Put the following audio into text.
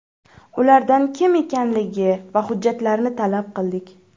Ulardan kim ekanligi va hujjatlarini talab qildik.